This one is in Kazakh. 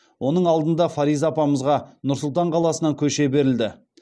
оның алдында фариза апамызға нұр сұлтан қаласынан көше берілді